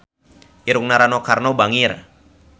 Irungna Rano Karno bangir